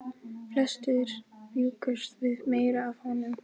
Flestir bjuggust við meiru af honum.